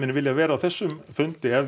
viljað vera á þessum fundi ef